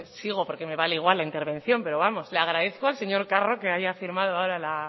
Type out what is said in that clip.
pues sigo porque me vale igual la intervención pero vamos le agradezco al señor carro que haya firmado ahora la